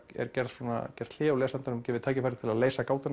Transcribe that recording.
er gert gert hlé og lesandanum gefið tækifæri til að leysa